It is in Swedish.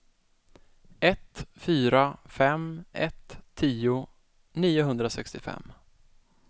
ett fyra fem ett tio niohundrasextiofem